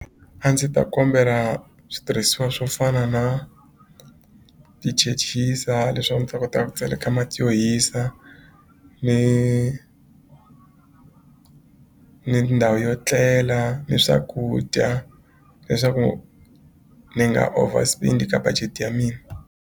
A ndzi ta kombela switirhisiwa swo fana na tichechisa leswaku ndzi ta kota ku tseleka mati yo hisa ni ni ndhawu yo etlela ni swakudya leswaku ni nga over spend ka budget ya mina.